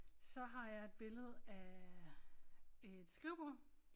Så har jeg et billede af et skrivebord